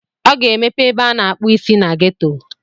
Ọ ga-emepe ebe a na-akpụ isi na ghetto.